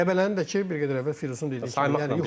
Qəbələnin də ki, bir qədər əvvəl Teymur dedi.